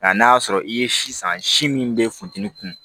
Nka n'a y'a sɔrɔ i ye si san si min bɛ funteni kun